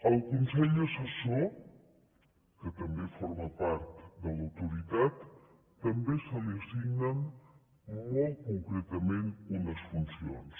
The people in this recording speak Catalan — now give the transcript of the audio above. al consell assessor que també forma part de l’autoritat també se li assignen molt concretament unes funcions